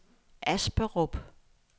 Asperup